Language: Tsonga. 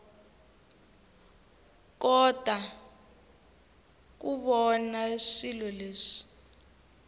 kota ku vona swilo leswi